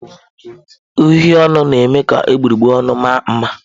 Uhie ọnụ na-eme ka egbugbere ọnụ maa mma.